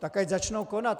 Tak ať začnou konat.